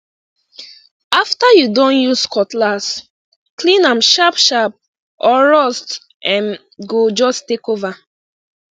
after you don use cutlass clean am sharp sharp or rust um go just take over